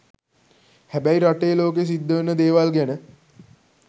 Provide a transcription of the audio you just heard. හැබැයි රටේ ලෝකෙ සිද්ධවෙන දේවල් ගැන